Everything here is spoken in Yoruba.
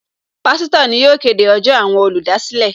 Pásítọ̀ ni yóò kéde ọjọ́ àwọn olùdásílẹ̀